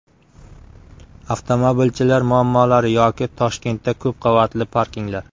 Avtomobilchilar muammolari yoki Toshkentda ko‘p qavatli parkinglar.